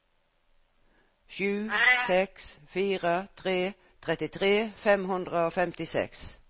sju seks fire tre trettitre fem hundre og femtiseks